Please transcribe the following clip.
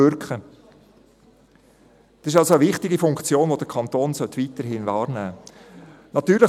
Dies ist also eine wichtige Funktion, die der Kanton weiterhin wahrnehmen sollte.